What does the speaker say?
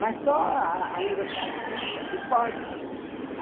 Mas só a a a universidade pública que pode fazer isso.